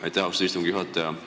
Aitäh, austatud istungi juhataja!